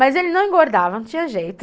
Mas ele não engordava, não tinha jeito.